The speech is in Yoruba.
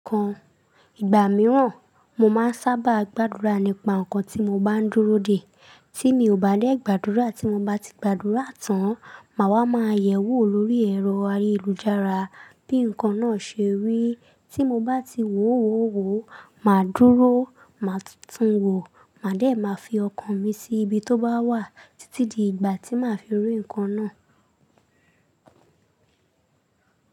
Kan ìgbà mìíràn, mo máa ń sábà gbàdúrà nípa nǹkan tí mo bá ń dúró dè. Tí mi ò bá dẹ gbàdúrà tí mo bá ti gbàdúrà tán, màá wá máa yẹ̀wò lórí ẹ̀rọ ayélujára bí nǹkan náà ṣe rí. Tí mo bá ti wò ó wo, màá dúró, màá tutù n wò, màá dé máa fi ọkàn mi sí ibi tó bá wà títí di ìgbà tí màá fi rí ǹkan náà.